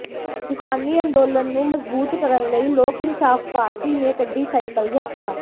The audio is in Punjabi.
ਕਿਸਾਨੀ ਅੰਦੋਲਨ ਨੂੰ ਮਜ਼ਬੂਤ ਕਰਨ ਲਈ ਲੋਕ ਇਨਸਾਫ਼ ਪਾਰਟੀ ਨੇ ਕੱਢੀ ਸਾਈਕਲ ਯਾਤਰਾ